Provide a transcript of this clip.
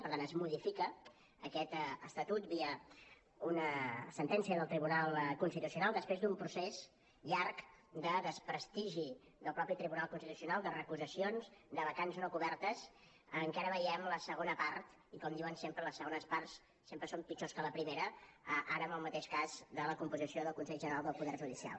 per tant es modifica aquest estatut via una sentència del tribunal constitucional després d’un procés llarg de desprestigi del mateix tribunal constitucional de recusacions de vacants no cobertes en què ara veiem la segona part i com diuen sempre les segones parts sempre són pitjors que la primera ara amb el mateix cas de la composició del consell general del poder judicial